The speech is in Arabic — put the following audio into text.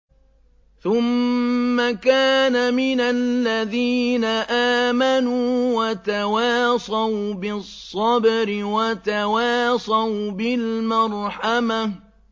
ثُمَّ كَانَ مِنَ الَّذِينَ آمَنُوا وَتَوَاصَوْا بِالصَّبْرِ وَتَوَاصَوْا بِالْمَرْحَمَةِ